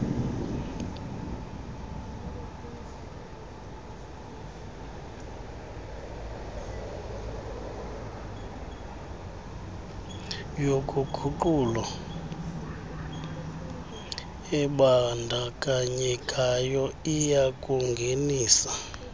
yoguqulo ebandakanyekayo iyakungenisa